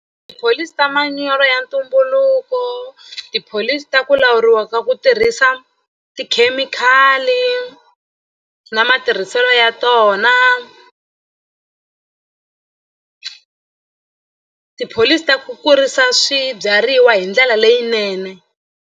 Tipholisi ta manyoro ya ntumbuluko tipholisi ta ku lawuriwa ka ku tirhisa tikhemikhali na matirhiselo ya tona tipholisi ta ku kurisa swibyariwa hi ndlela leyinene.